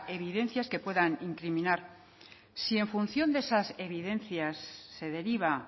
evidencias que puedan incriminar si en función de esas evidencias se deriva